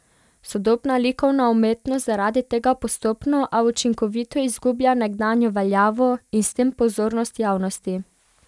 Sodobna likovna umetnost zaradi tega postopno a učinkovito izgublja nekdanjo veljavo in s tem pozornost javnosti.